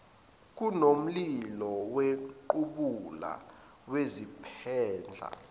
kunomlilo wequbula ngizophendla